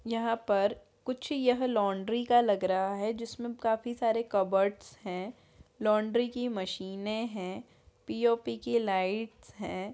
यहाँ पर कुछ यह लॉन्ड्री का लग रहा है जिसमें काफी सारे कपबोर्ड्स हैं लॉन्ड्री की मशीन है पी औ पी की लाइट्स है।